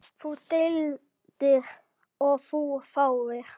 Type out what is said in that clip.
Þú deildir og þú þáðir.